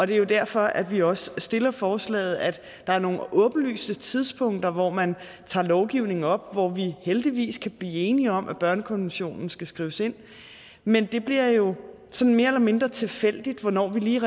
det er jo derfor at vi også stiller forslaget der er nogle åbenlyse tidspunkter hvor man tager lovgivningen op hvor vi heldigvis kan blive enige om at børnekonventionen skal skrives ind men det bliver jo sådan mere eller mindre tilfældigt hvornår vi lige